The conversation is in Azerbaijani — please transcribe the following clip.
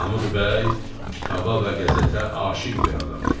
Mahmud bəy kitaba və qəzetə aşiq bir adam idi.